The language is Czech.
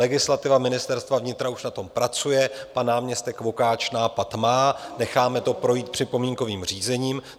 Legislativa Ministerstva vnitra už na tom pracuje, pan náměstek Vokáč nápad má, necháme to projít připomínkovým řízením.